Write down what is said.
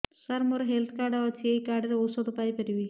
ସାର ମୋର health card ଅଛି ଏହି କାର୍ଡ ରେ ଔଷଧ ପାଇପାରିବି